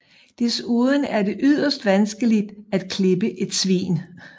Desuden er det yderst vanskeligt at klippe et svin